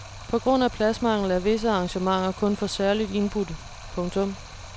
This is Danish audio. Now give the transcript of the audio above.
På grund af pladsmangel er visse arrangementer kun for særligt indbudte. punktum